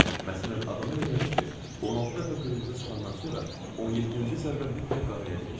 Məsələn, adama elə gəlir ki, 16 dəfə qırmızı çıxandan sonra 17-ci zərbə mütləq qaraya dəyəcək.